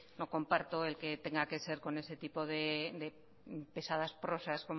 no comparto el que tenga que ser con ese tipo de pesadas prosas